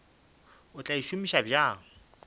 o tla e šomiša bjang